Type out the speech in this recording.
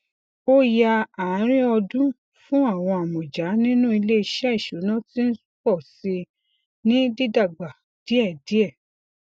ọya àárín ọdún fún àwọn amọja nínú ilé iṣẹ ìṣúná ti ń pọ síi ní dídágbà díẹ díẹ